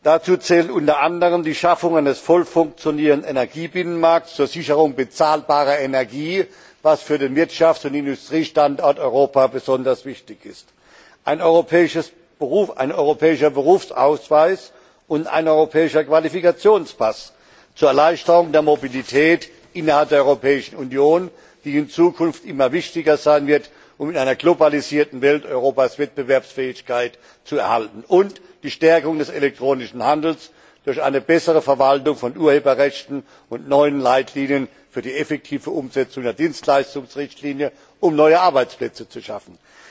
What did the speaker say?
Dazu zählt unter anderem die Schaffung eines voll funktionierenden Energiebinnenmarkts zur Sicherung bezahlbarer Energie, was für den Wirtschafts und Industriestandort Europa besonders wichtig ist, dann ein europäischer Berufsausweis und ein europäischer Qualifikationspass zur Erleichterung der Mobilität innerhalb der Europäischen Union, die in Zukunft immer wichtiger sein wird, um in einer globalisierten Welt Europas Wettbewerbsfähigkeit zu erhalten, und die Stärkung des elektronischen Handels durch eine bessere Verwaltung von Urheberrechten und neue Leitlinien für die effektive Umsetzung der Dienstleistungsrichtlinie, um neue Arbeitsplätze zu schaffen.